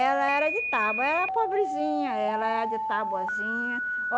Ela era de tábua, era pobrezinha, ela era de tabuazinha.